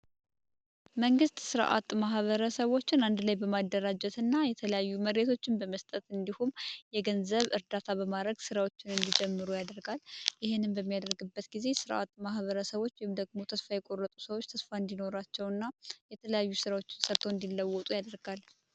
መንግስት ስራ አጥ ማህበረሰቦችን አንድ ላይ በማደራጀት እና የተለያዩ መሬቶች እንደመስጠት እንዲሁም የገንዘብ እርዳታ በማድረግ ስራዎችን ጀምሮ ያደርጋል ይሄንን በሚያደርግበት ጊዜ ማህበረሰቦች ተስፋቸውና ሰቶ እንዲለወጡ ያደርጋል ።